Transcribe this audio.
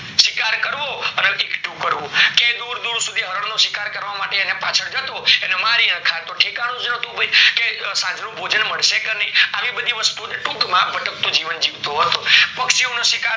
શિકાર કરવો અને કરવું ક્યાય દુર દુર સુથી હરણ નો શિકાર કરવા માટે દુર દુર પાછલા જતો મારીને ખાતો ઠેકાણું જ નોતું કે સાંજ નું ભોજન મળશે કે નય આવી બધી વસ્તુ ટુક માં ભટક તું જીવન જીવતો હતો પક્ષીઓના શિકાર